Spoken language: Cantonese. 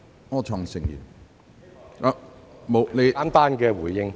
我只想作簡單的回應。